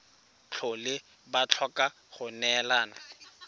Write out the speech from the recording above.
tlhole ba tlhoka go neelana